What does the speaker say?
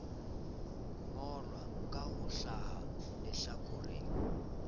ngolwa ka ho hlaha lehlakoreng